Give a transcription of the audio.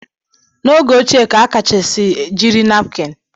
N'oge ochie ka akachasi jiri napkini